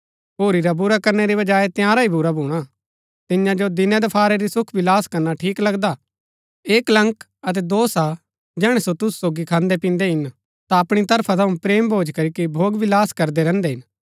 होरी रा बुरा करनै री बजाऐ तिआंरा ही बुरा भूणा तियां जो दिनैदफारै ही सुखविलास करना ठीक लगदा ऐह कलंक अतै दोष हा जैहणै सो तुसु सोगी खान्दैपिन्दै हिन ता अपणी तरफा थऊँ प्रेम भोज करीके भोगविलास करदै रैहन्दै हिन